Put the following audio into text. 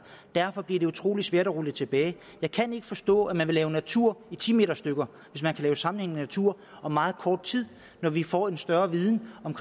derfor bliver det utrolig svært at rulle tilbage jeg kan ikke forstå at man vil lave natur i ti meter stykker hvis man kan lave sammenhængende natur om meget kort tid når vi får en større viden om